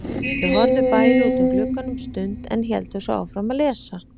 Þau horfðu bæði út um gluggann um stund en héldu svo áfram að lesa.